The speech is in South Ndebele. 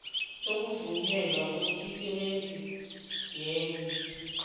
sokuvunywa kwemisebenzi yegmo